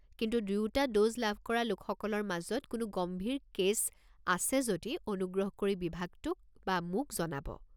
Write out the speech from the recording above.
কিন্তু দুয়োটা ড'জ লাভ কৰা লোকসকলৰ মাজত কোনো গম্ভীৰ কে'ছ আছে যদি অনুগ্ৰহ কৰি বিভাগটোক বা মোক জনাব।